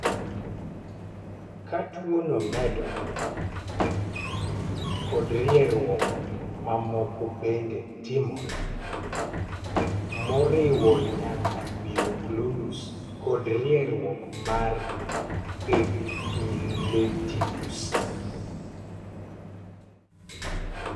Ka tuo no medore, kit rieruok mamoko bende timore, moriwo nyaka mioklonus kod rieruok mar epilepticus.